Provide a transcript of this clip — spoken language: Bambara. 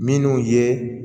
Minnu ye